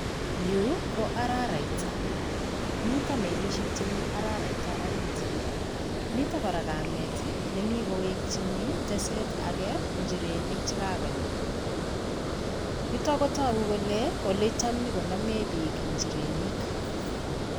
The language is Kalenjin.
Yuu ko araraita, miten melishek chemii araraita oriit, miten korak kameet nemii kowekyin teseet akee nchirenik chekakonam, yutok kotokuu kolee oletam konyokonomen biik nchirenik.